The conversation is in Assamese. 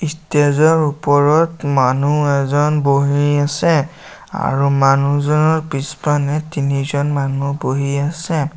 ষ্টেজ ৰ ওপৰত মানুহ এজন বহি আছে আৰু মানুহজনৰ পিছপানে তিনিজন মানুহ বহি আছে।